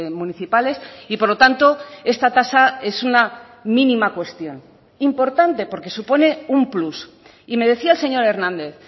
municipales y por lo tanto esta tasa es una mínima cuestión importante porque supone un plus y me decía el señor hernández